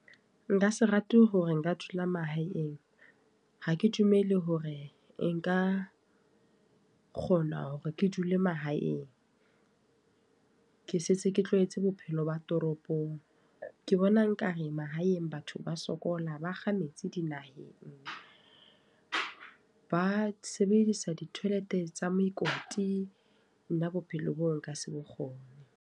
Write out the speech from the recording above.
Nka se rate hore nka dula mahaeng. Ha ke dumele hore nka kgona hore ke dule mahaeng. Ke setse ke tlwaetse bophelo ba toropong. Ke bona nka re mahaeng batho ba sokola, ba kga metsi dinaheng. Ba sebedisa di-toilet tsa mokoti. Nna bophelo boo nka se bokgone.